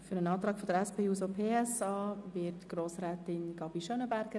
Für den Antrag der SP-JUSO-PSA-Fraktion spricht Grossrätin Gabi Schönenberger.